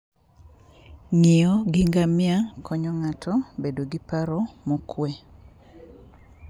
Ng'iyo gi ngamia konyo ng'ato bedo gi paro mokuwe.